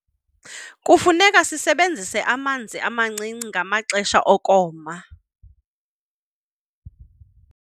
kufuneka sisebenzise amanzi amancinci ngamaxesha okoma